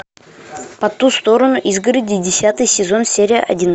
по ту сторону изгороди десятый сезон серия один